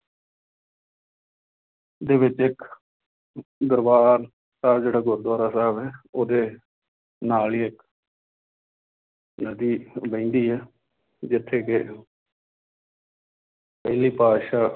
ਦੇ ਵਿੱਚ ਇੱਕ ਦਰਬਾਰ ਸਾਹਿਬ ਜਿਹੜਾ ਗੁਰੂਦੁਆਰਾ ਸਾਹਿਬ ਹੈ ਉਹਦੇ ਨਾਲ ਹੀ ਇੱਕ ਨਦੀ ਵਹਿੰਦੀ ਹੈ ਜਿੱਥੇ ਕਿ ਪਹਿਲੀ ਪਾਤਿਸ਼ਾਹ